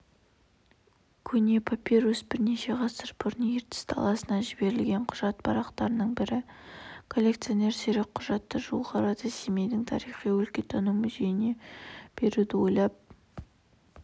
көне папирус бірнеше ғасыр бұрын ертіс даласына жіберілген құжат парақтарының бірі коллекционер сирек құжатты жуық арада семейдің тарихи-өлкентану музейіне беруді ойлап